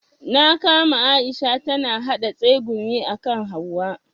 Na kama Aisha tana yaɗa tsegumi akan hauwa.